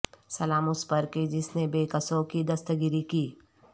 سلام اس پرکے جس نے بے کسوں کی دستگیری کی